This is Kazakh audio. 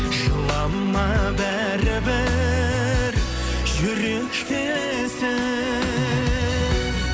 жылама бәрібір жүректесің